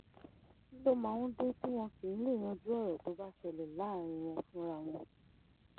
kí ló máa ń dé tí wọn kì í lèé yanjú ọ̀rọ̀ tó bá ṣẹlẹ̀ láàrin wọn fúnra wọn